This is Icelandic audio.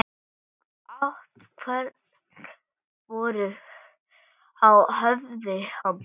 Áverkar voru á höfði hans.